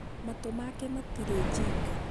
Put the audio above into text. matũ make matirĩ jinga.